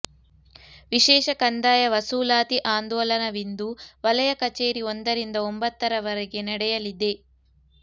ವಿಶೇಷ ಕಂದಾಯ ವಸೂಲಾತಿ ಆಂದೋಲನವಿಂದು ವಲಯ ಕಚೇರಿ ಒಂದರಿಂದ ಒಂಭತ್ತರವರೆಗೆ ನಡೆಯಲಿದೆ